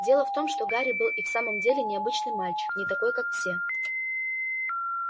дело в том что гарри был и в самом деле необычный мальчик не такой как все